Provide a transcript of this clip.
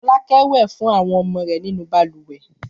Fọlákẹ́ wẹ̀ fún àwọn ọmọ rẹ̀ nínú balùwẹ̀.